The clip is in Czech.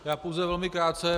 Já pouze velmi krátce.